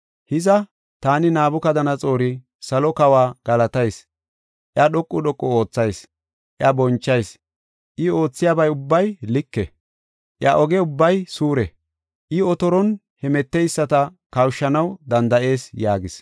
Hiza, taani Nabukadanaxoori salo kawa galatayis; iya dhoqu dhoqu oothayis; iya bonchayis. I oothiyaba ubbay like; iya oge ubbay suure; I otoron hemeteyisata kawushanaw danda7ees” yaagis.